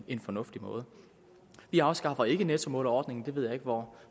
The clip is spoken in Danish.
en fornuftig måde vi afskaffer ikke nettomålerordningen det ved jeg ikke hvor